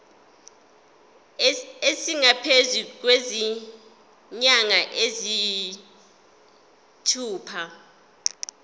esingaphezu kwezinyanga eziyisithupha